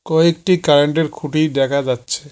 কয়েকটি কারেন্ট -এর খুঁটি দেখা যাচ্ছে।